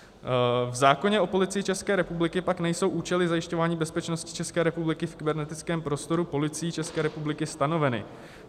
V zákoně o Policii České republiky, pak nejsou účely zajišťování bezpečnosti České republiky v kybernetickém prostoru Policí České republiky stanoveny.